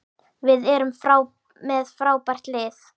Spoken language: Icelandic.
Við erum með frábært lið.